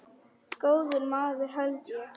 Góður maður held ég.